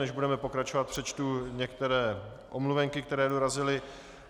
Než budeme pokračovat, přečtu některé omluvenky, které dorazily.